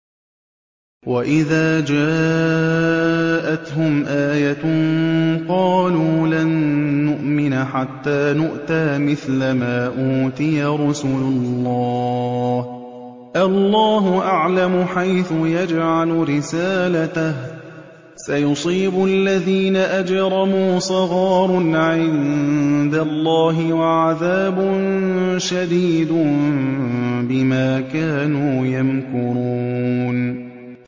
وَإِذَا جَاءَتْهُمْ آيَةٌ قَالُوا لَن نُّؤْمِنَ حَتَّىٰ نُؤْتَىٰ مِثْلَ مَا أُوتِيَ رُسُلُ اللَّهِ ۘ اللَّهُ أَعْلَمُ حَيْثُ يَجْعَلُ رِسَالَتَهُ ۗ سَيُصِيبُ الَّذِينَ أَجْرَمُوا صَغَارٌ عِندَ اللَّهِ وَعَذَابٌ شَدِيدٌ بِمَا كَانُوا يَمْكُرُونَ